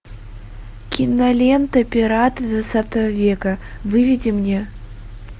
кинолента пираты двадцатого века выведи мне